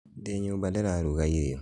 Ndĩ nyũmba ndĩraruga irĩo